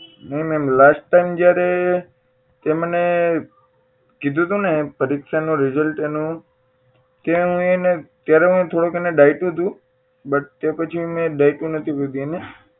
નહીં ma'am last time જયારે તે મને કીધું તું ને પરીક્ષા નું result જયારે એનું ત્યાં હું એને ત્યારે હું એને થોડુંક ડાયટુ હતું but તે પછી મેં એને ડાયટુ નથી કોઈ દી એને